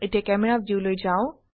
এতিয়া ক্যামেৰা ভিউলৈ যাও